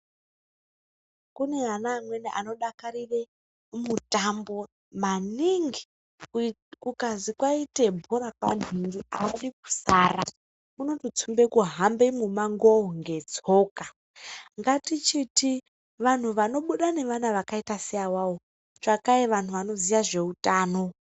Kune ana amweni anodakarire mutambo maningi ,kukazi kwaite bhora kwanhingi adi kusara unototsumbe kuhamba mumamngowo ngetsoka ,ngatichiti vanhu vanobuda nevana vakaita seavavo tsvakai vanhu vanoziya zveutano.